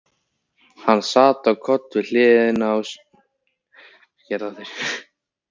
Hann sá á koll við hliðina á sér á koddanum.